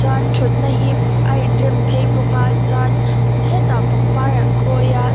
chuan an thutna hi a inrem phei bawka chuan hetah pangpar an khawi a.